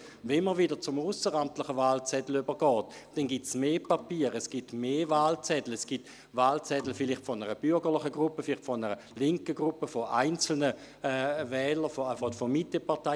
Wenn man wieder zum ausseramtlichen Wahlzettel übergeht – auch dies ist hier erwähnt worden –, ist es auch nicht erstaunlich, dass es mehr Papier und mehr Wahlzettel gibt, vielleicht Wahlzettel von einer bürgerlichen, vielleicht von einer linken Gruppe oder von einzelnen Wählern von Mitteparteien.